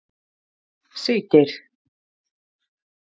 Siggeir